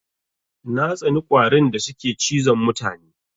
Na tsani ƙwarin da suke cizon mutane.